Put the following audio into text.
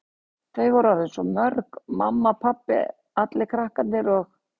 Þau voru orðin svo mörg, mamma, pabbi, allir krakkarnir og